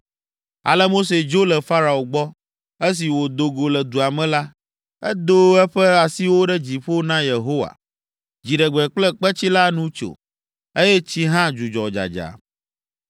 Ale Mose dzo le Farao gbɔ. Esi wòdo go le dua me la, edo eƒe asiwo ɖe dziƒo na Yehowa. Dziɖegbe kple kpetsi la nu tso, eye tsi hã dzudzɔ dzadza.